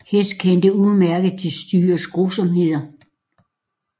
Hess kendte udmærket til styrets grusomheder